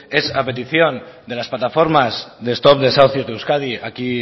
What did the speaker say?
es a petición de las plataformas de stop desahucios de euskadi aquí